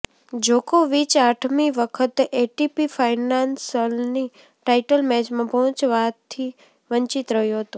જોકોવિચ આઠમી વખત એટીપી ફાઇનલ્સની ટાઇટલ મેચમાં પહોંચવાથી વંચિત રહ્યો હતો